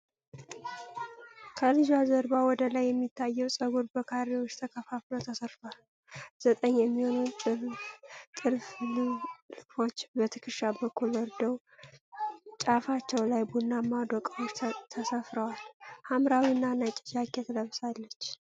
ከልጇ ጀርባ ወደ ላይ የሚታየው ፀጉር በካሬዎች ተከፍሎ ተሰርቷል። ዘጠኝ የሚሆኑ ጥልፍልፎች በትከሻ በኩል ወርደው ጫፋቸው ላይ ቡናማ ዶቃዎች ተሰፍረዋል። ሐምራዊና ነጭ ጃኬት ለብሳለች።